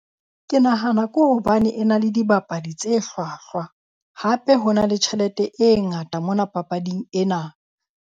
Ke nahana ke hobane e na le dibapadi tse hlwahlwa. Hape ho na le tjhelete e ngata mona papading ena.